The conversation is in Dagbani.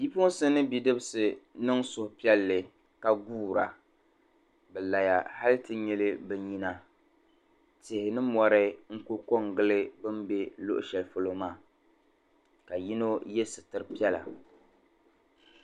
Bipuɣinsi mini bidibisi niŋ suhupiɛlli ka guura. Bɛ laya hali ti nyili bɛ nyina. Tihi ni mɔri n-ku kɔŋgili bɛ ni luɣishɛli polo maa ka yino ye sitir' piɛla.